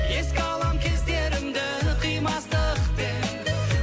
еске алам кездерімді қимастықпен